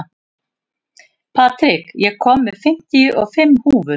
Patrik, ég kom með fimmtíu og fimm húfur!